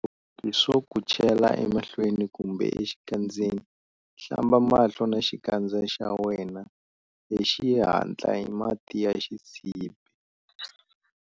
Swo ku chela emahlweni kumbe exikandzeni, hlamba mahlo na xikandza xa wena hi xihatla hi mati ya xisibi.